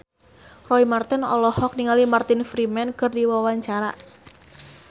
Roy Marten olohok ningali Martin Freeman keur diwawancara